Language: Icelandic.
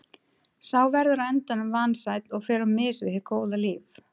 Sá verður á endanum vansæll og fer á mis við hið góða líf.